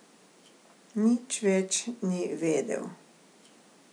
Nič več ni vedel.